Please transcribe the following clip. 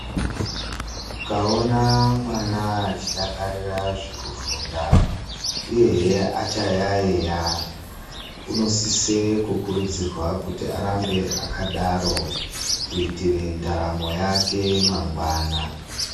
Ukaona mwana achidakarira zvokufunda uye hee achayayeya unokurudzirwe kusisirwa kuti arambe akadaro kuitire ndaramo yake mangwana.